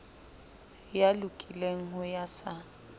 ya lokileng ho ya sa